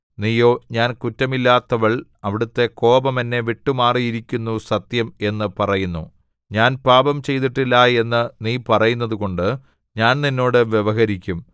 നീയോ ഞാൻ കുറ്റമില്ലാത്തവൾ അവിടുത്തെ കോപം എന്നെ വിട്ടുമാറിയിരിക്കുന്നു സത്യം എന്ന് പറയുന്നു ഞാൻ പാപം ചെയ്തിട്ടില്ല എന്ന് നീ പറയുന്നതുകൊണ്ട് ഞാൻ നിന്നോട് വ്യവഹരിക്കും